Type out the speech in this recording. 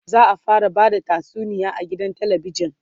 za'a fara Bada tatsuniya a gidan talabijan